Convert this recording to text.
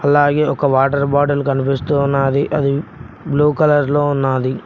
అలాగే ఒక water bottle కనిపిస్తూ ఉన్నాది అది బ్లూ కలర్ లో ఉన్నాది.